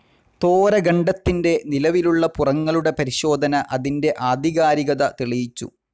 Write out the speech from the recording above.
തോര ഖണ്ഡത്തിൻ്റെ നിലവിലുള്ള പുറങ്ങളുടെ പരിശോധന അതിൻ്റെ ആധികാരികത തെളിയിച്ചു.